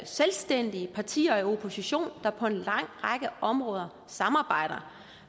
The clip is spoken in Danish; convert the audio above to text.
selvstændige partier i opposition der på en lang række områder samarbejder